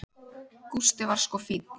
Gústi var sko fínn.